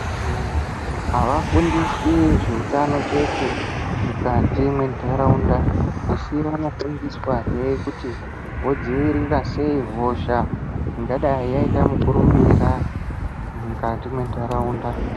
Antu avafundiswi zveutano chete mukati mwendaraunda, asi vanofundiswa hee kuti vodziirira sei hosha ingadai yaita mukurumbira mukati mwendaraunda.